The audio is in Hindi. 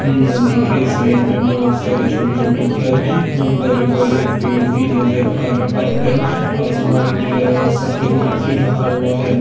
नदी के साइड में बहुत सारे छोटे-छोटे घर एवं बड़े-बड़े पेड़ भी नजर आ रहा है| आसमान नीला है और सफेद मेघ से ढका हुआ है।